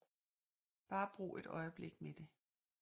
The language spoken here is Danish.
Bare brug et øjeblik med det